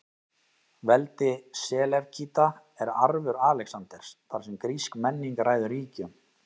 Veldi Selevkída er arfur Alexanders, þar sem grísk menning ræður ríkjum.